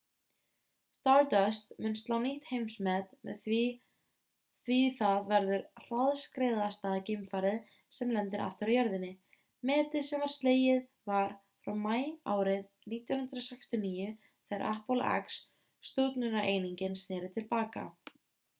stardust mun slá nýtt heimsmet því það verður hraðskreiðasta geimfarið sem lendir aftur á jörðinni metið sem var slegið var frá maí árið 1969 þegar apollo x stjórnunareiningin sneri til baka